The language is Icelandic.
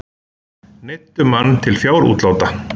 Neyddu mann til fjárútláta